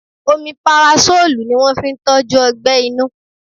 Omeparasọ́lù ni wón fi ń tọ́jú Ọgbẹ́ inú.